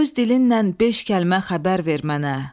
Öz dilindən beş kəlmə xəbər ver mənə.